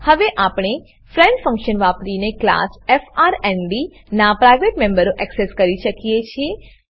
હવે આપણે friend function વાપરીને ક્લાસ એફઆરએનડી નાં પ્રાઇવેટ મેમ્બરો એક્સેસ કરી શકીએ છીએ